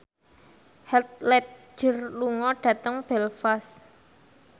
Heath Ledger lunga dhateng Belfast